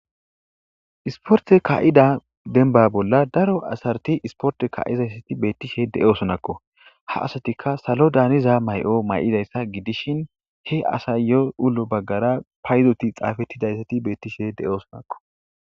isporte ka7ida denba bolla daro asarti isporte ka7izayssa beettishe de7osonakko ha asatika salo daaniza may7o may7idayssa gidishin he asayyo ulo baggara paydoti xaafettidayssati beettishe de7osonako